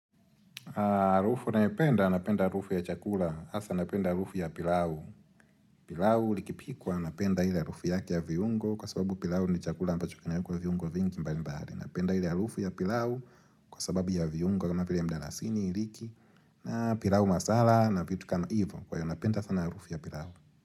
Arufu nayopenda, napenda arufu ya chakula hasa napenda arufu ya pilau pilau likipikwa, napenda ile arufu yake ya vyiungo Kwa sababu pilau ni chakula ambacho kinawekwa vyiungo vingi mbali mbali Napenda ile arufu ya pilau Kwa sababu ya vyiungo kama vile ya mdalasini, iliki na pilau masala na vitu kama ivo Kwa hiyo napenda sana arufu ya pilau.